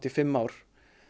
fimm ár